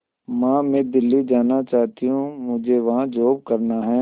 मां मैं दिल्ली जाना चाहते हूँ मुझे वहां जॉब करना है